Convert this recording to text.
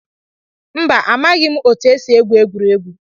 Mba, amaghị m otu esi egwu egwuregwu